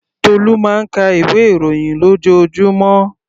Tolu máa ń ka ìwé ìròyìn lójoojúmọ́.